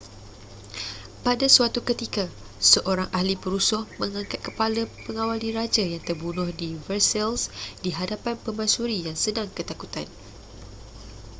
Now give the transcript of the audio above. pada suatu ketika seorang ahli perusuh mengangkat kepala pengawal diraja yang terbunuh di versailles di hadapan permaisuri yang sedang ketakutan